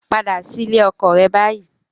Padà sí ilé ọkọ rẹ báyìí